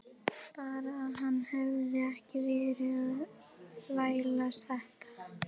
Bara að hann hefði ekki verið að þvælast þetta.